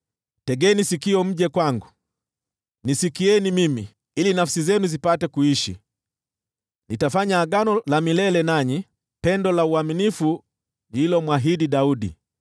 Tegeni sikio mje kwangu, nisikieni mimi, ili nafsi zenu zipate kuishi. Nitafanya agano la milele nanyi, pendo la uaminifu nililomwahidi Daudi.